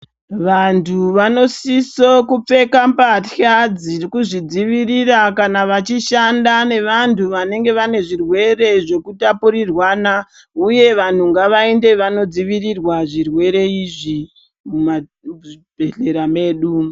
Vantu vanosisa kupfeka mbasha dzekudzivirira kana vachishanda nevantu vanenge vane zvirwere zvekutapurirwana uye vanhu ngavaende vanodzivirirwa zvirwere izvi muzvibhedhlera mwedu.